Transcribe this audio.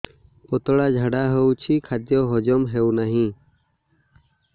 ପତଳା ଝାଡା ହେଉଛି ଖାଦ୍ୟ ହଜମ ହେଉନାହିଁ